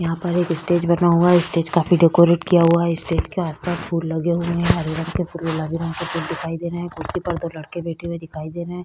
यहाँ पर एक स्टेज है स्टेज काफी डेकोरेट किया हुआ है स्टेज के आस-पास फूल लगे हुए है हरे रंग के फूल लाल रंग के फूल दिखाई दे कुर्सी पर दो लड़के बैठे हुए दिखाई दे रहे है।